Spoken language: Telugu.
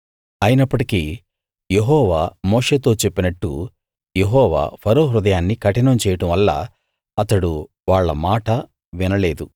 అయినప్పటికీ యెహోవా మోషేతో చెప్పినట్టు యెహోవా ఫరో హృదయాన్ని కఠినం చేయడం వల్ల అతడు వాళ్ళ మాట వినలేదు